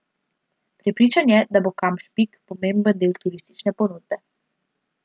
Prepričan je, da bo Kamp Špik pomemben del turistične ponudbe.